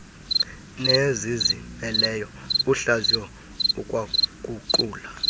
nezizimeleyo uhlaziya ukwaguqula